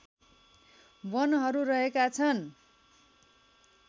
वनहरू रहेका छन्